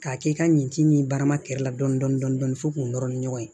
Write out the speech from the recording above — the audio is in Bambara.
K'a kɛ i ka ɲinci ni barama kɛrɛ la dɔnni fɔ k'o nɔrɔ ni ɲɔgɔn ye